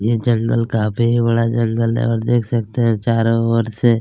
ये जंगल काफी ही बड़ा जंगल है और देखते सकते है चारो ओर से--